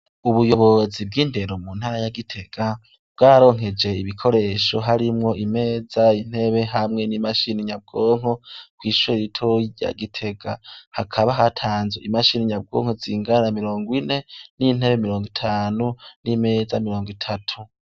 Ubuyobozi bw'indero mu ntara ya Gitega, bwararonkeje ibikoresho harimwo imeza, intebe hamwe n'imashini nyabwonko, kwishure ritoyi rya Gitega. Hakaba hatanzwe imashini nyabwonko zingana na mirongo ine n'intebe mirongo itanu n'imeza mirongo itatu.